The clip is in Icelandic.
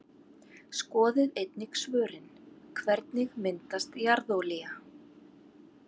Skoðið einnig svörin: Hvernig myndast jarðolía?